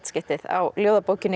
skiptið á ljóðabókinni